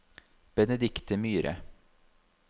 Benedikte Myhre